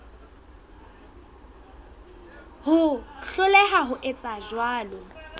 ho hloleha ho etsa jwalo